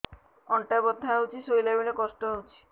ଅଣ୍ଟା ବଥା ହଉଛି ଶୋଇଲା ବେଳେ କଷ୍ଟ ହଉଛି